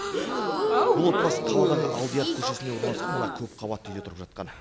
бұл отбасы қаладағы алдияров көшесінде орналасқан мына көпқабатты үйде тұрып жатқан